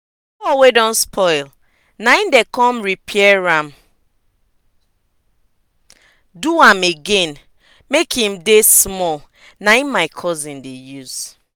hoe wey don spoil na em dem con repair am do am again make em dey small na em my cousin dey use